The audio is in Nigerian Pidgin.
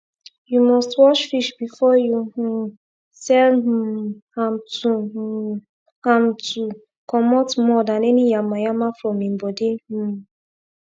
you must wash fish before you um sell um amto um amto commot mud and any yama yama from im body um